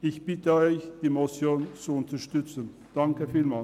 Ich bitte Sie, die Motion zu unterstützen, vielen Dank.